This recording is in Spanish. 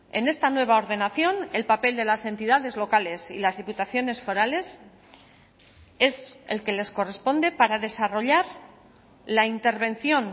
en esta nueva ordenación el papel de las entidades locales y las diputaciones forales es el que les corresponde para desarrollar la intervención